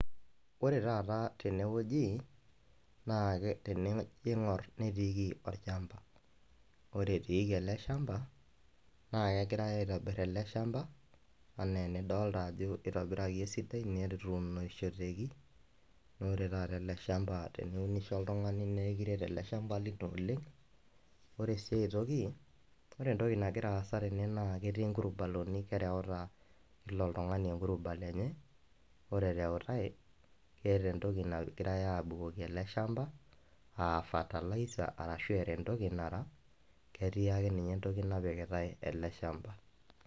Ore taata tenewueji na tenijo aingur netiiki olchamba, ore etiiki olchamba na kegirai aitobir eleshamba ana enidolta netuunishoreki na ore taata eleshamba teniunisbo oltungani na ekiret oleng, ore si aitoki nagira aasa tene naketii nkulibaroni nakereuta kila oltungani kulubaro enye, ore ereutae keeta entoki nagirai abukuko eleshamba aa fertiliser arashu era entoki nara ketii akenye entoki naoikitaeele shamba.